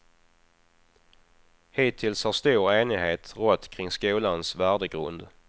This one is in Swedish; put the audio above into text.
Hittills har stor enighet rått kring skolans värdegrund.